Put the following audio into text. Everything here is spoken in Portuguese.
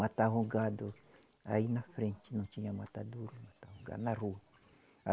Matavam gado aí na frente, não tinha matadouro, matavam gado na rua.